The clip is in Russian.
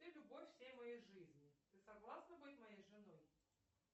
ты любовь всей моей жизни ты согласна быть моей женой